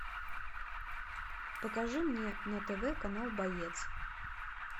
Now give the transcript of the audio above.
покажи мне на тв канал боец